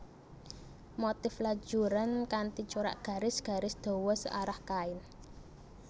Motif lajuran kanthi corak garis garis dawa searah kain